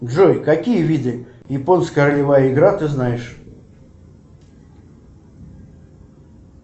джой какие виды японская ролевая игра ты знаешь